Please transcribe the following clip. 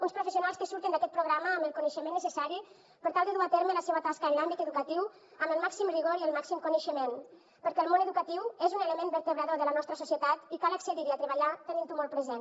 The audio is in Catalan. uns professionals que surten d’aquest programa amb el coneixement necessari per tal de dur a terme la seua tasca en l’àmbit educatiu amb el màxim rigor i el màxim coneixement perquè el món educatiu és un element vertebrador de la nostra societat i cal accedir hi a treballar tenint ho molt present